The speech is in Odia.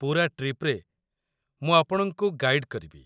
ପୂରା ଟ୍ରିପ୍‌ରେ ମୁଁ ଆପଣଙ୍କୁ ଗାଇଡ଼୍ କରିବି।